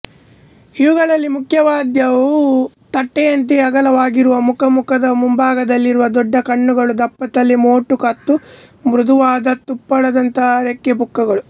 ಇವುಗಳಲ್ಲಿ ಮುಖ್ಯವಾದವು ತಟ್ಟೆಯಂತೆ ಅಗಲವಾಗಿರುವ ಮುಖ ಮುಖದ ಮುಂಭಾಗದಲ್ಲಿರುವ ದೊಡ್ಡ ಕಣ್ಣುಗಳು ದಪ್ಪತಲೆ ಮೋಟು ಕತ್ತು ಮೃದುವಾದ ತುಪ್ಪಳದಂಥ ರೆಕ್ಕೆಪುಕ್ಕಗಳು